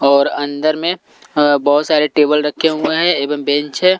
और अंदर में बहुत सारे टेबल रखे हुए हैं एवं बेंच है।